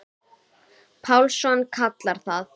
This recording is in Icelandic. Pálsson kallar það.